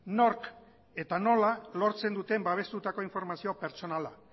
nork eta nola lortzen duten babestutako informazio pertsonala